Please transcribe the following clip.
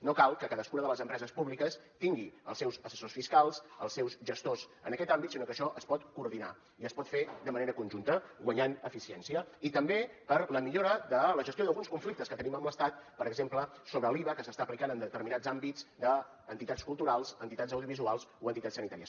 no cal que cadascuna de les empreses públiques tingui els seus assessors fiscals els seus gestors en aquest àmbit sinó que això es pot coordinar i es pot fer de manera conjunta guanyant eficiència i també per a la millora de la gestió d’alguns conflictes que tenim amb l’estat per exemple sobre l’iva que s’està aplicant en determinats àmbits d’entitats culturals entitats audiovisuals o entitats sanitàries